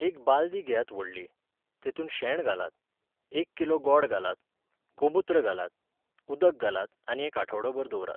एक बालदी घेयात व्हडली, तेतूंत शेण घालात, एक किलो गॉड घालात, गोमूत्र घालात, उदक घालात आनी एक आठवडोभर दवरात.